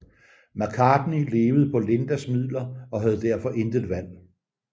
McCartney levede på Lindas midler og havde derfor intet valg